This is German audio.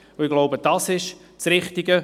Ich glaube, das ist das Richtige.